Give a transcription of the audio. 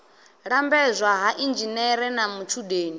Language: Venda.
lambedzwa ha inzhinere na matshudeni